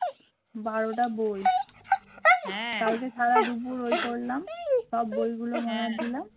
বারোটা বই কালকে সারা দুপুর ওই করলাম সব বইগুলো মোলার দিলাম